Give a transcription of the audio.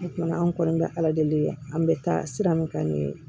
O kɔni anw kɔni bɛ ala deli an bɛ taa sira min kan nin ye